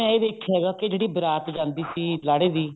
ਦੇ ਮੈਂ ਇਹ ਵੇਖਿਆ ਹੈਗਾ ਕੀ ਜਿਹੜੀ ਬਾਰਾਤ ਜਾਂਦੀ ਸੀ ਲਾੜੇ ਦੀ